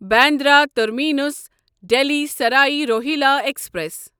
Bandra terminus Delhi Sarai Rohilla express